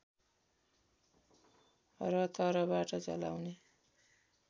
र तरबार चलाउने